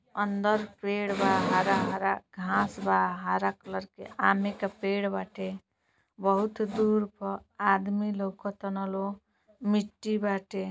अंदर पेड़ बा हरा-हरा घांस बा हरा कलर के आमे के पेड़ बाटे बहुत दूर पर आदमी लौकतारन लोग मिट्टी बाटे।